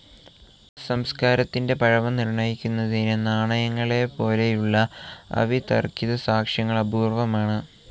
സംസ്കാരത്തിൻ്റെ പഴമ നിർണ്ണയിക്കുന്നതിന് നാണയങ്ങളെപ്പോലെയുള്ള അവിതർക്കിതസാക്ഷ്യങ്ങൾ അപൂർവമാണ്.